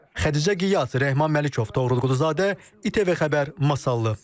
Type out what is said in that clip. Xədicə Qiyas, Rehman Məlikov, Toğrul Quluzadə, ITV Xəbər, Masallı.